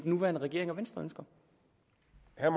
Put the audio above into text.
nuværende regering og venstre